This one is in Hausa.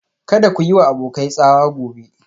Kada ku yi wa abokai tsawa gobe